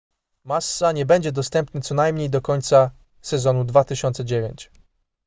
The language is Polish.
massa nie będzie dostępny co najmniej do końca sezonu 2009